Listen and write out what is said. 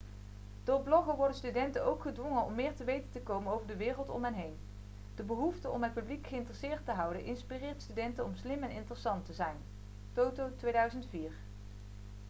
door bloggen 'worden studenten ook gedwongen om meer te weten te komen over de wereld om hen heen'. de behoefte om het publiek geïnteresseerd te houden inspireert studenten om slim en interessant te zijn toto 2004